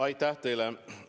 Aitäh teile!